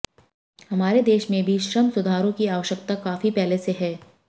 हमारे देश में भी श्रम सुधारों की आवश्यकता काफी पहले से है